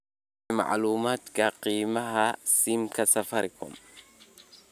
Bixi macluumaadka qiimaha saamiga safaricom